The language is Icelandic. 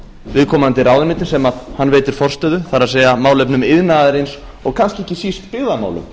viðkomandi ráðuneyti sem hann veitir forstöðu það er málefnum iðnaðarins og kannski ekki síst byggðamálum